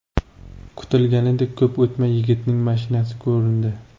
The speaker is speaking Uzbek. Kutilganidek, ko‘p o‘tmay yigitning mashinasi ko‘rindi.